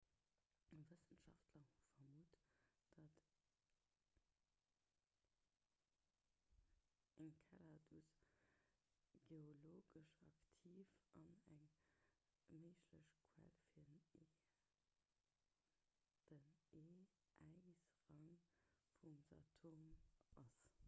wëssenschaftler hu vermutt datt enceladus geologesch aktiv an eng méiglech quell fir den e-äisrank vum saturn ass